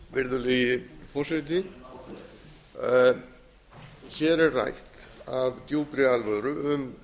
virðulegi forseti hér er rætt af djúpri alvöru um